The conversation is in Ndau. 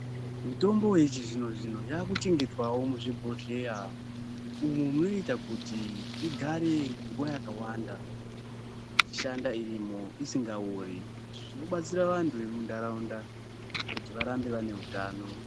Mitombo yechizvino-zvino yaakuchengetwawo muzvibhohleya umo munoita kuti igare nguwa yakawanda ichishanda irimo, isingaori. Izvi zvichibatsira vantu vemuntaraunda kuti varambe vane utano